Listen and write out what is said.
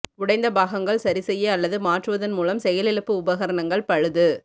உடைந்த பாகங்கள் சரிசெய்ய அல்லது மாற்றுவதன் மூலம் செயலிழப்பு உபகரணங்கள் பழுது